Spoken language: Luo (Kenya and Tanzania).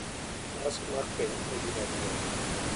Nyasi mar keny en gima duong'